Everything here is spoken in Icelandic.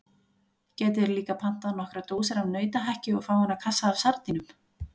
Gætuð þér líka pantað nokkrar dósir af nautahakki og fáeina kassa af sardínum.